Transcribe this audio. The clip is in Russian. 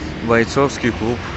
бойцовский клуб